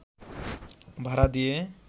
ভাড়া দিয়ে